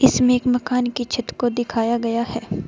इसमें एक मकान के छत को दिखाया गया है।